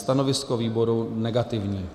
Stanovisko výboru negativní.